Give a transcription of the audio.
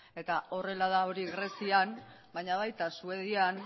eta horrela da hori grezian baina baita suedian